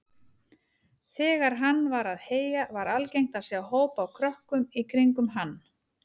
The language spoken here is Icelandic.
Þegar hann var að heyja var algengt að sjá hóp af krökkum í kringum hann.